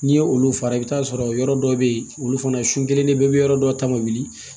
N'i ye olu fara i bɛ t'a sɔrɔ yɔrɔ dɔ bɛ yen olu fana sun kelen de bɛ yɔrɔ dɔ ta ma wuli